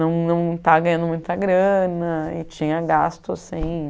Não não estava ganhando muita grana e tinha gastos, sim.